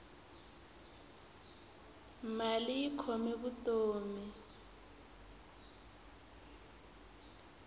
mali yi khome vutomi